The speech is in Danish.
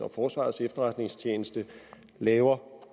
og forsvarets efterretningstjeneste laver